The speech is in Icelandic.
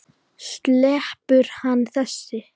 Sleppur hann þessi?